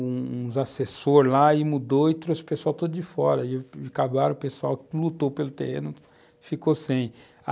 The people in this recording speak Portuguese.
Um uns assessores lá e mudou e trouxe o pessoal todo de fora, e acabaram o pessoal que lutou pelo terreno, ficou sem.